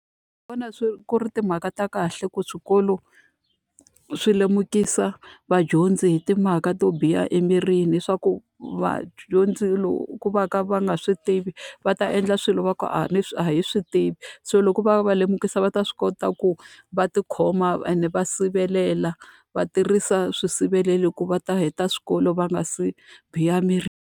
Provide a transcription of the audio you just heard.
Ndzi vona swi ku ri timhaka ta kahle ku swikolo swi lemukisa vadyondzi hi timhaka to biha emirini, leswaku vadyondzi loko va ka va nga swi tivi va ta endla swilo va ku a leswi a hi swi tivi. So loko va va lemukisa va ta swi kota ku va tikhoma ende va sivelela, va tirhisa swisirheleli ku va ta heta swikolo va nga si biha emirini.